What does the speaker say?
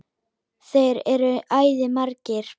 Þeir eru æði margir.